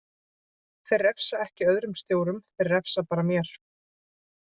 Þeir refsa ekki öðrum stjórum, þeir refsa bara mér.